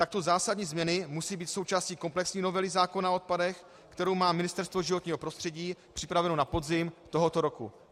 Takto zásadní změny musí být součástí komplexní novely zákona o odpadech, kterou má Ministerstvo životního prostředí připravenu na podzim tohoto roku.